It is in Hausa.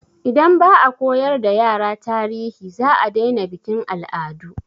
Idan ba a koyar da yara tarihi, za a daina bikin al'adu.